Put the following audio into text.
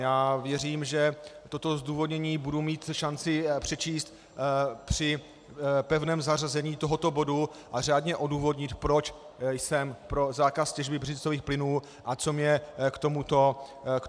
Já věřím, že toto zdůvodnění budu mít šanci přečíst při pevném zařazení tohoto bodu a řádně odůvodnit, proč jsem pro zákaz těžby břidlicových plynů a co mne k tomuto vede.